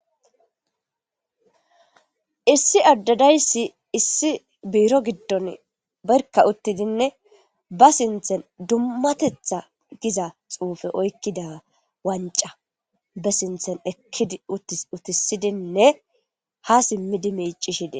Issi ade dayisi issi biro gidon barkka utidinne ba sinthan dummatetha giza xufe oykida wancha be sinthan ekkidi utisidinne ha simidi micishe des